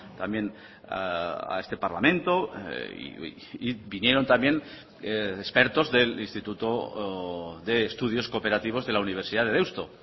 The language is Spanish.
también a este parlamento y vinieron también expertos del instituto de estudios cooperativos de la universidad de deusto